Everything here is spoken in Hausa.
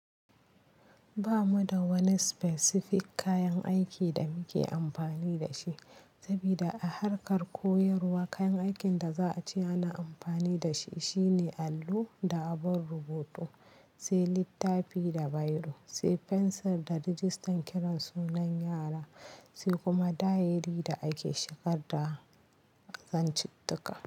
Ba mu da wani specific kayan aiki da muke amfani da shi. Saboda a harkar koyarwa kayan aikin da za a ci ana amfani da shi shine allo da abun rubutu, sai littafi da biro, sai fensir da rijistan kiran sunan yara, sai kuma diary da ake shigar da zantuka.